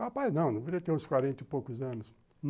Rapaz, não, devia ter uns quarenta e poucos anos.